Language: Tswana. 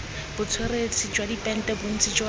botsweretshi jwa dipente bontsi jwa